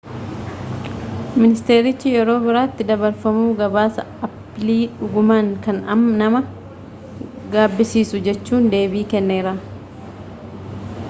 ministeerichi yeroo biraatti dabarfamuu gabaasa aappilii ‘’dhugumaan kan nama gaabbisiisu,’’ jechuun deebii kenneera